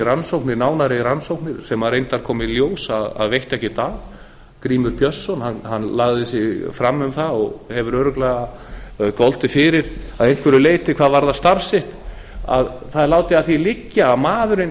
í nánari rannsóknir sem reyndar kom í ljós að veitti ekkert af grímur björnsson hann lagði sig fram um það og hefur örugglega goldið fyrir að einhverju leyti hvað varðar starf sitt það er látið að því liggja að maðurinn